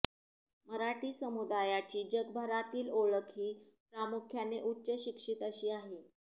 मराठी समुदायाची जगभरातील ओळख ही प्रामुख्याने उच्चशिक्षित अशी आहे